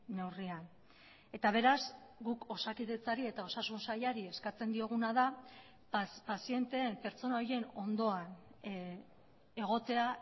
neurrian eta beraz guk osakidetzari eta osasun sailari eskatzen dioguna da pazienteen pertsona horien ondoan egotea